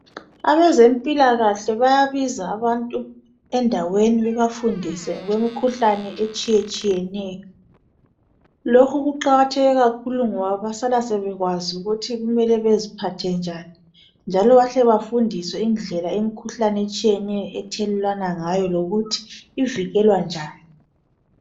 Abazempilakahle bayabiza abantu endaweni bebafundise ngemikhuhlane etshiyetshiyeneyo. Lokhu kuqakatheke kakhulu ngoba bayasala sebekwazi ukuthi kumele baziphathe njani, njalo bahle bafundiswe ngedlela imikhuhlane etshiyeneyo ethelelanwa ngayo ngokuthi ivikelwa njani